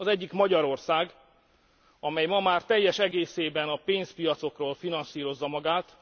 Az egyik Magyarország, amely ma már teljes egészében a pénzpiacokról finanszírozza magát.